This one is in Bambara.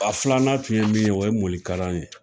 A filanan tun ye min ye, o ye morikalan ye